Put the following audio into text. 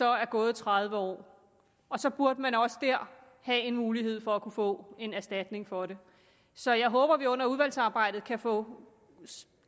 er gået tredive år så burde man også dér have en mulighed for at kunne få en erstatning for det så jeg håber at vi under udvalgsarbejdet kan få